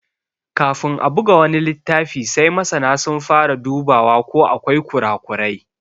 Kafin a buga wani littafi sai masana sun fara dubawa ko akwai ƙura ƙurai.